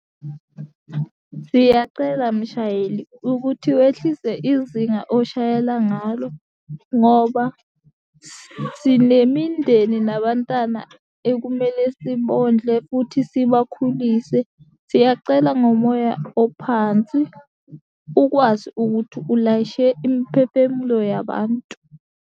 Siyacela mshayeli ukuthi wehlise izinga oshayela ngalo, ngoba sinemindeni nabantana ekumele sibondle futhi sibakhulise. Siyacela ngomoya ophansi ukwazi ukuthi ulayishe imphefemulo yabantu.